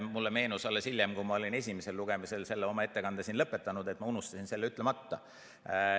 Mulle meenus alles hiljem, kui ma olin esimesel lugemisel oma ettekande siin lõpetanud, et ma unustasin selle ütlemata.